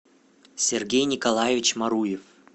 сергей николаевич маруев